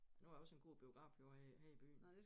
Nu er også en god biograf jo her i byen